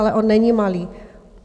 Ale on není malý.